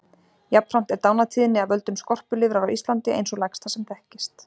Jafnframt er dánartíðni af völdum skorpulifrar á Íslandi ein sú lægsta sem þekkist.